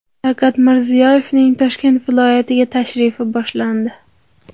Shavkat Mirziyoyevning Toshkent viloyatiga tashrifi boshlandi.